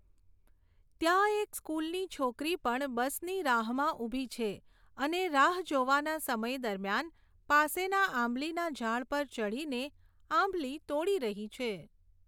ત્યાં એક સ્કુલની છોકરી પણ બસની રાહમાં ઊભી છે ને રાહ જોવાના સમય દરમિયાન પાસેના આંબલીના ઝાડ પર ચઢીને આંબલી તોડી રહી છે.